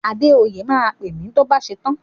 Adéoyè máa pè mi tó bá ṣetán.